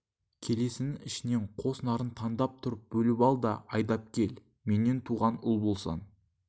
келесінің ішінен қос нарын таңдап тұрып бөліп ал да айдап кел менен туған ұл болсаң